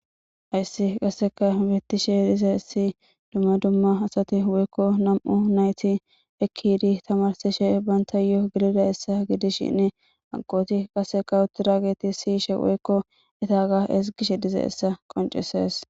hayssi qasseka bittishe dize issi dumma dumma asati woykko nam7u nayti ekkiiidi tamarsishe bantayoo gidida essa gidishinn agqooti qasseka uturageti siyishe woykko etaga esgishe dize essa qoncises